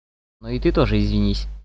но и ты тоже извинись